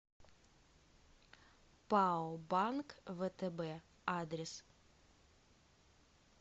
пао банк втб адрес